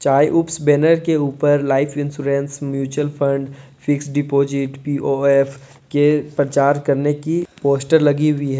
काईउप्स banner के ऊपर life insurance mutual fund fixed deposit P O F के प्रचार करने की पोस्टर लगी हुई है।